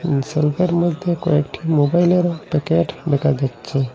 এই শেল্ফের মধ্যে কয়েকটি মোবাইলের প্যাকেট দেখা যাচ্ছে।